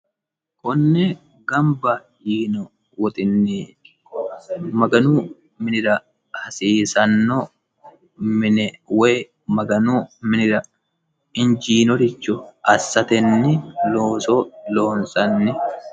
konne gamba yiino woxinnii maganu minira hasiisanno mine woy maganu minira injiinoricho assatenni looso loonsanni